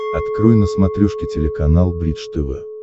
открой на смотрешке телеканал бридж тв